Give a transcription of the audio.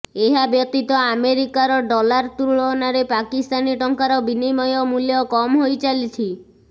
ଏହାବ୍ୟତୀତ ଆମେରିକାର ଡଲାର ତୁଳନାରେ ପାକିସ୍ତାନୀ ଟଙ୍କାର ବିନିମୟ ମୂଲ୍ୟ କମ୍ ହୋଇ ଚାଲିଛି